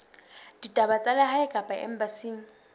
ditaba tsa lehae kapa embasing